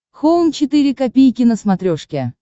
хоум четыре ка на смотрешке